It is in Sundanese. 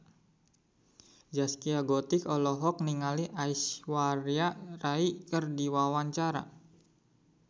Zaskia Gotik olohok ningali Aishwarya Rai keur diwawancara